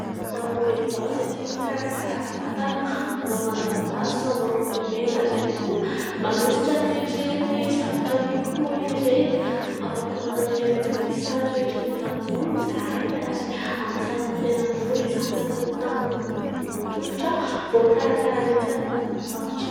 Ho anao vehivavy ho izay tia mikarakara vatana : manao manjamaso, manao lokomena ary ihany koa manosotra ireny zavatra amin'ny hoho ireny. Afaka manatanteraka an'izay sary rehetra tadiavinao izahay ary amin'ny sarany tena mora izany na ny hoho tanana na ny hoho tongotra ; voakarakaranay tsara fa aza matahotra.